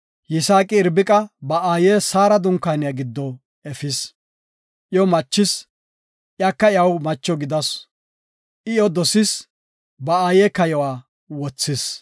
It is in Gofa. Yisaaqi Irbiqa ba aaye Saara dunkaaniya giddo efis. Iyo machis; iyaka iyaw macho gidasu. I iyo dosis; ba aaye kayuwa wothis.